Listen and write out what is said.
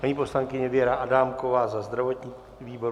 Paní poslankyně Věra Adámková za zdravotní výbor?